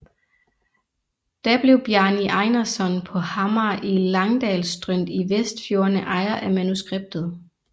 Da blev Bjarni Einarsson på Hamar i Langdalsströnd i Vestfjordene ejer af manuskriptet